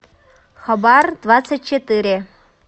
хабар двадцать четыре